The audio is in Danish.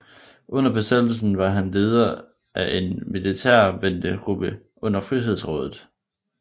Under besættelsen var han leder af en militærventegruppe under Frihedsrådet